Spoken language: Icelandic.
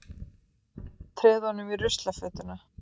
Treð honum í ruslafötuna.